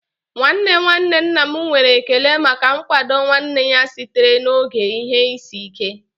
Nwanne nwanne nna m nwere ekele maka nkwado nwanne ya sitere n'oge ihe isi ike